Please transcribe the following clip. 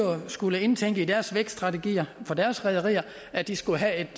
skulle indtænke i deres vækststrategier for deres rederier at de skulle have et